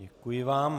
Děkuji vám.